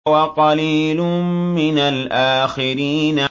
وَقَلِيلٌ مِّنَ الْآخِرِينَ